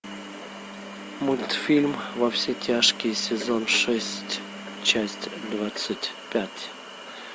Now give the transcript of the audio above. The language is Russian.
мультфильм во все тяжкие сезон шесть часть двадцать пять